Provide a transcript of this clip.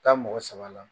Taa mɔgɔ saba la